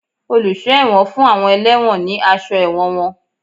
Oluso ẹwọ́n fun awọn ẹlewọ́n ní aṣọ ẹwọ́n wón.